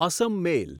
Assam મેલ